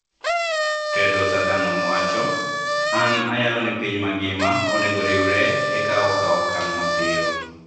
Tedros Adhanom wacho: "An ayalo ni piny mangima onego oriwre e kawo okang ' mapiyo